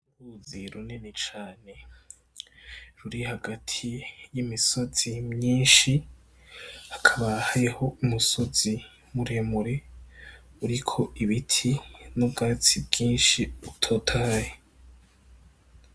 Uruzi runini cane ruri hagati y' imisozi myinshi hakaba hariho umusozi mure mure uriko ibiti n' ubwatsi bwinshi butotahaye.